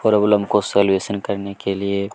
problem का solution करने के लिए--